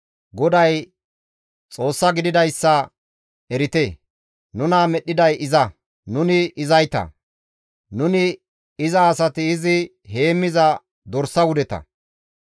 GODAY Xoossa gididayssa erite; nuna medhdhiday iza; nuni izayta; nuni iza asati izi heemmiza dorsa wudeta.